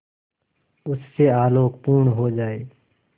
उससे आलोकपूर्ण हो जाए